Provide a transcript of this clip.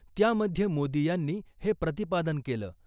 त्यामध्ये मोदी यांनी हे प्रतिपादन केलं .